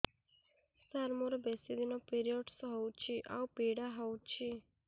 ସାର ମୋର ବେଶୀ ଦିନ ପିରୀଅଡ଼ସ ହଉଚି ଆଉ ପୀଡା ହଉଚି